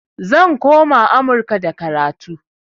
Zan koma amurka da karatu